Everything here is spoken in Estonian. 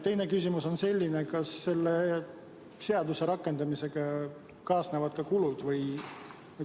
Teine küsimus on selline: kas selle seaduse rakendamisega kaasnevad ka kulud?